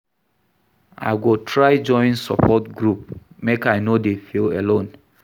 I go try join support group, make I no dey feel alone.